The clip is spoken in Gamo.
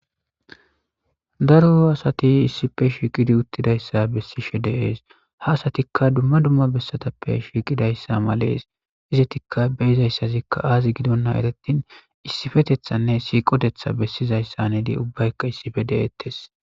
Daro asati issife shiiqidi uttidayssa bessishe deees ha asatikka dumma dumma bessatappe shiiqidayssa malees izetikka beyizayssazikka aazi gidonna erettin issifetethanne siiqotetha bessizayssa nedi ubbaykka issife de'eettes.